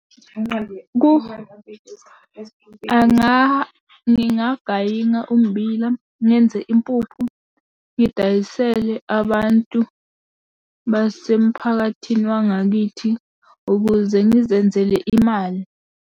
Ngingagayina ummbila, ngenze impuphu ngidayisele abantu basemphakathini wangakithi ukuze ngizenzele imali.